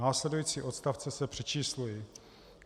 Následující odstavce se přečíslují.